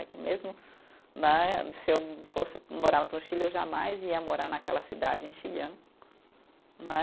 É que mesmo, né, se eu fosse morar no Chile, eu jamais ia morar naquela cidade, em Xi'an, né